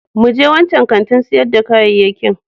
Mu je wancan kantin sayar da kayayyakin.